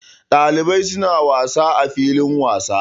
Ɗalibai suna wasa a filin wasa.